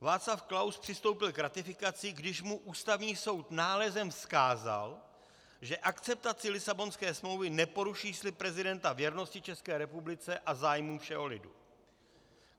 Václav Klaus přistoupil k ratifikaci, když mu Ústavní soud nálezem vzkázal, že akceptací Lisabonské smlouvy neporuší slib prezidenta věrnosti České republice a zájmům všeho lidu.